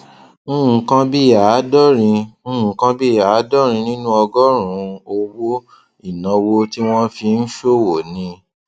nǹkan bí àádórin nǹkan bí àádórin nínú ọgọrùnún owó ìnáwó tí wọn fi ń ṣòwò ni